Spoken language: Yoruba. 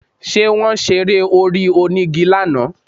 Ṣé Wọ́n ṣe eré orí onígi lánàá?